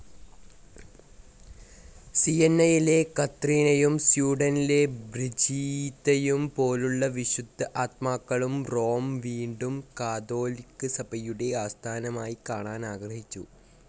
സിയന്നയിലെ കത്രീനയും സ്വീഡനിലെ ബ്രിജീത്തയും പോലുള്ള വിശുദ്ധആത്മാക്കളും റോം വീണ്ടും കാതോലിക്ക സഭയുടെ ആസ്ഥാനമായിക്കാണാൻ ആഗ്രഹിച്ചു.